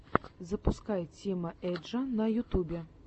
запускай тима эджа на ютубе